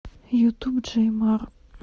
ютуб джей мар